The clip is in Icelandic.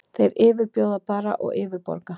Þeir yfirbjóða bara og yfirborga.